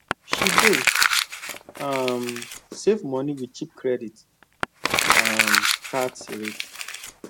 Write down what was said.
she dey um save money with cheap credit um cards rate